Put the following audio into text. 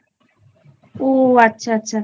ও আচ্ছা আচ্ছা।